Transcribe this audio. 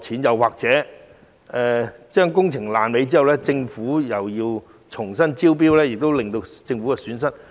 又或在工程"爛尾"後，政府需否重新招標，因而蒙受損失？